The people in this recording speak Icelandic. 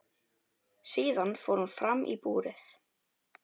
Síðan fór hún fram í búrið.